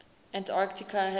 antarctica has no